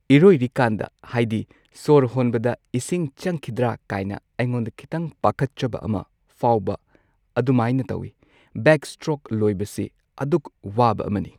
ꯏꯔꯣꯏꯔꯤꯀꯥꯟꯗ ꯍꯥꯏꯗꯤ ꯁꯣꯔ ꯍꯣꯟꯕꯗ ꯏꯁꯤꯡ ꯆꯪꯈꯤꯗ꯭ꯔꯥ ꯀꯥꯏꯅ ꯑꯩꯉꯣꯟꯗ ꯈꯤꯇꯪ ꯄꯥꯈꯠꯆꯕ ꯑꯃ ꯐꯥꯎꯕ ꯑꯗꯨꯃꯥꯏꯅ ꯇꯧꯋꯤ ꯕꯦꯛꯁ꯭ꯇ꯭ꯔꯣꯛ ꯂꯣꯏꯕꯁꯤ ꯑꯗꯨꯛ ꯋꯥꯕ ꯑꯃꯅꯤ꯫